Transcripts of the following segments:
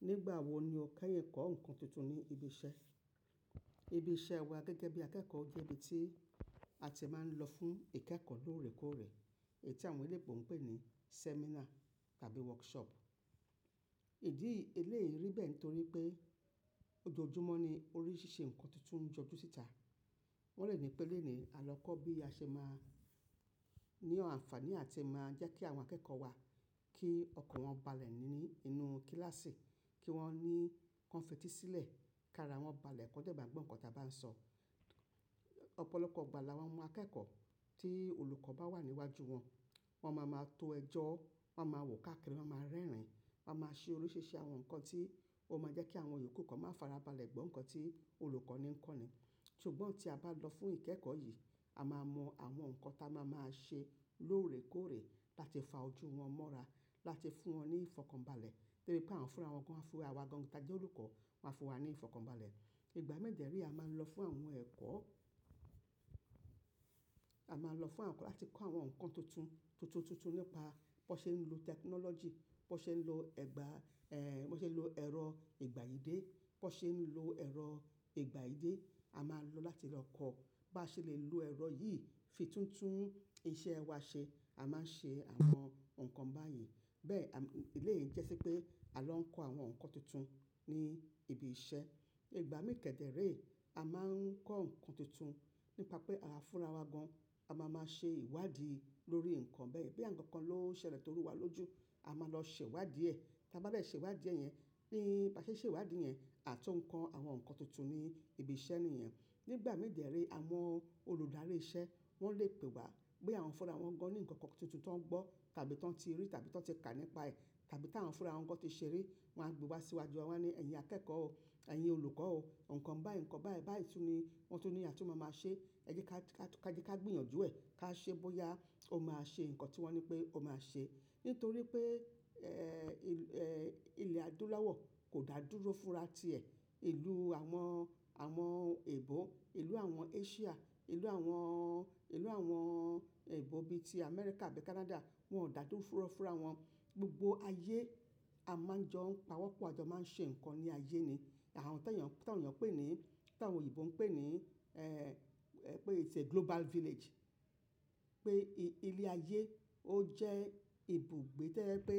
Nígbà wo ni o kẹ́yìn kọ́ ǹkan tuntun ní ibi iṣẹ́? Ibi iṣẹ́ wa gẹ́gẹ́ bí akẹ́kọ̀ọ́ jẹ́ ibi tí a ti máa ń lọ fún ìkẹ́kọ̀ọ́ lóòrèkóòrè. Èyí tí àwọn ilé ẹ̀kọ́ ń pè ní seminar tàbí workshop. Ìdí eléyìí rí bẹ́ẹ̀ nítorí pé ojoojúmọ́ ni oríṣiríṣi ǹkan tuntun ń jọjú síta. Wọ́n lè ní pé lónìí a lọ kọ́ bí a ṣe máa ní àǹfààní àti máa jẹ́ kí àwọn akẹ́kọ̀ọ́ wa kí ọkàn wọn balẹ̀ nínú kíláàsì, kí wọ́n ní kọ́n f; ẹ́tì sílẹ̀, kí ara wọn balẹ̀ kọ́jà ìgbàgbọ́ ǹkan táa bá ń sọ. Ọ̀pọ̀lọpọ̀ ìgbà la wọ́n mọ akẹ́kọ̀ọ́ tí olùkọ́ bá wà níwájú wọn, wọ́n máa ma tó ẹjọ́, wọ́n máa wò káàkiri, wọ́n máa rẹ́rìn-ín, wọ́n máa ṣe oríṣiríṣi àwọn ǹkan tí ó máa jẹ́ kí àwọn yòókù kan máa farabalẹ̀ gbọ́ ǹkan tí olùkọ́ní ń kọ́ ni. Ṣùgbọ́n tí a bá lọ fún ìkẹ́kọ̀ọ́ yìí, a máa mọ àwọn ǹkan táa máa máa ṣe lóòrèkóòrè láti fa ojú wọn mọ́ra, láti fún wọn ní ìfọ̀kànbalẹ̀. Torí pé àwọn fúnra wọn gan, fúnra wa gan ni táa jẹ́ olùkọ́ máa fún wa ní ìfọ̀kànbalẹ̀. Ìgbà mi dẹ́ rẹ́ a máa ń lọ fún àwọn ẹ̀kọ́, a máa lọ fún àwọn ẹ̀kọ́ láti kọ́ àwọn ǹkan tuntun, tuntun, tuntun nípa bó ṣe ń lo technology, bó ṣe ń lo ẹ̀gbà, ẹ́, bó ṣe ń lo ẹ̀rọ ìgbà yìí dé, bó ṣe ń lo ẹ̀rọ ìgbà yìí dé. A máa lò láti lọ kọ́ bá ṣe lè lo ẹ̀rọ yìí fi tún tún iṣẹ́ wa ṣe. A máa ń ṣe àwọn ǹkan báyìí. Bẹ́ẹ̀ eléyìí jẹ́ ṣi pé a lọ ń kọ́ àwọn ǹkan tuntun ní ibi iṣẹ́. Ìgbà mẹ́ẹ̀kẹ́dẹ́rẹ́ a máa ń kọ́ ǹkan tuntun nípa pé àwà fúnra wa gan, a máa máa ṣe ìwádìí lórí ǹkan bẹ́ẹ̀. Boya ǹkan kan ló ṣẹlẹ̀ toru wa lójú, a máa lọ ṣe ìwádìí ẹ̀. Ti a bá de ṣe ìwádìí ẹ̀ yẹn, bí a ṣe ṣe ìwádìí ẹ̀ yẹn, àtún kọ́ àwọn ǹkan tuntun ní ibi iṣẹ́ nìyẹn. Nígbà mii dẹ́ rẹ́ àwọn olùdarí iṣẹ́ wọ́n lè pè wá pé àwọn fúnra wọn gan ní ǹkan kan tuntun tó ń gbọ́ tàbí tọ́n ti rí tàbí tọ́n ti kà nípa ẹ̀ tàbí táwọn fúnra wọn gan ti ṣe ri, wọ́n máa gbé wá síwájú wa wí pé ẹ̀yin akẹ́kọ̀ọ́ o, ẹ̀yin olùkọ́ o, ǹkan báì ǹkan báì báì tún ni wọ́n tun ní a tú máa máa ṣe, ẹ jẹ́ ká gbéyànjú ẹ̀, ká ṣe bóyá ó máa ṣe ǹkan tí wọ́n ní pé ó máa ṣe. Nítorí pé, ẹ́, ilẹ̀ adúláwọ̀ kò dá dúró fúnra ti ẹ̀. Ìlú àwọn, àwọn èbó, ìlú àwọn Asia, ìlú àwọn, ìlú àwọn èbó bí i tí Amẹ́ríkà àbí Canada wọn ò dá dúró fúnra fúnra wọn. Gbogbo ayé a máa ń jọ ń pawọ́pọ̀, a jọ máa ń ṣe ǹkan ní ayé ni. Àwọn tó ènìyàn, tí àwọn ènìyàn pè ní, tí àwọn òyìnbó ń pè ní, ẹ́, pé it's a global village. Pé ilé ayé ó jẹ́ ibùgbé tẹo je pé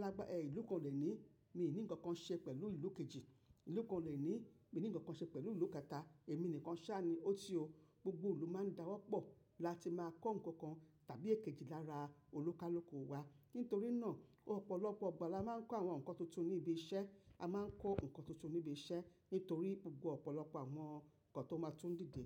lágbára ìlú kan dè ní mi ò ní ǹkan kan ṣe pẹ̀lú ìlú kejì, ìlú kan lè ní mi ò ní ǹkan kan ṣe pẹ̀lú ìlú kẹta, èmi nìkan sá ni, ó ti o. Gbogbo ìlú máa ń dáwọ́pọ̀ láti máa kọ́ ǹkan kan tàbí èkejì lára olúkáluku wa. Nítorí náà ọ̀pọ̀lọpọ̀ ìgbà la máa ń kọ́ àwọn ǹkan tuntun ní ibi iṣẹ́. A máa ń kọ́ ǹkan tuntun ní ibi iṣẹ́ nítorí gbogbo ọ̀pọ̀lọpọ̀ àwọn ǹkan tó máa tún dìde.